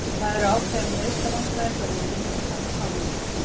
Það eru ákveðin meiðslavandræði hjá liðinu og þarf að fá nýja leikmenn.